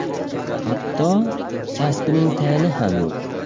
Hatto kasbining tayini ham yo‘q.